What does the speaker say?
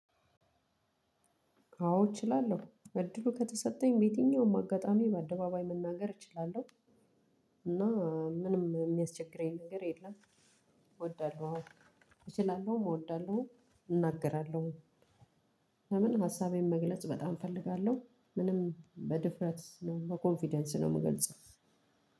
አዎ እችላለሁ እድሉ ከተሰጠኝ በየትኛውም አጋጣሚ በአደባባይ መናገር እችላለሁ። እና ምንም የሚያስቸግረኝ ነገር የለም። እወዳለሁ እችላለሁም እወዳለሁም እናገራለሁም። ሀሉንም ሀሳቤን መግለጽ በጣም እፈልጋለሁ። ሆኖም በድፍረት እና በኮንፊደንስ ነው የምገልጸው።